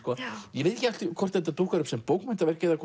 ég veit ekki hvort þetta dúkkar upp sem bókmenntaverk eða